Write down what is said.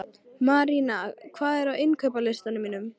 Marína, hvað er á innkaupalistanum mínum?